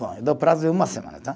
Bom, eu dou prazo de uma semana, tá?